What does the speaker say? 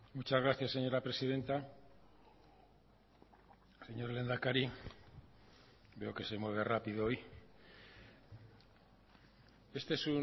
muchas gracias señora presidenta señor lehendakari veo que se mueve rápido hoy este es